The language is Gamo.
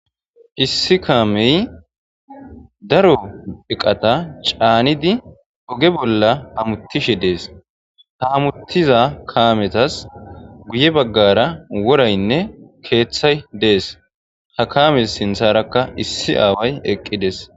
Issi kamey daro eqata canidi oge bolla hamutishe ha hamutiza kamezas guye bagara worayne kethay dees ha kames sintharaka issi aawos eqqides